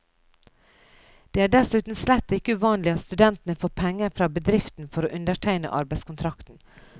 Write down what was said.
Det er dessuten slett ikke uvanlig at studentene får penger fra bedriften for å undertegne arbeidskontrakten.